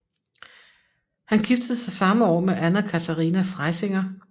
Han giftede sig samme år med Anna Katharina Freysinger